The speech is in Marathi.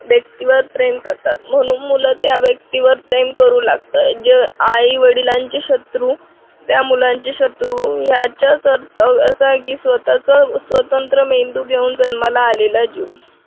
bestie वर प्रेम करतात म्हणून मुल त्या व्यक्तीवर प्रेम करू लागता जे आई-वडिलांचे शत्रु त्या मुलांचे शत्रू याच्या कर्तव्यासाठी स्वतःच स्वतंत्र मेंदू घेऊन जन्माला आलेला जीव